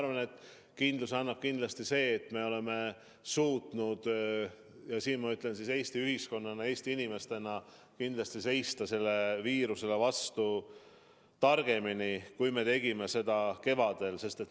Ma arvan, et kindluse annab kindlasti see, et me oleme suutnud – ja siin ma pean silmas Eesti ühiskonda, Eesti inimesi – seista sellele viirusele vastu targemini, kui me tegime seda kevadel.